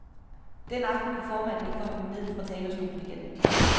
Den aften kunne formanden ikke få ham ned fra talerstolen igen.